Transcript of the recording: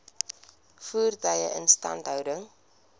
voertuie instandhouding